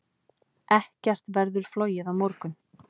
Ekkert verður flogið á morgun.